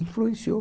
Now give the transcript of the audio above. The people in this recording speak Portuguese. Influenciou.